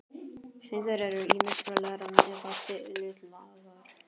Steindir eru ýmist glærar eða litaðar.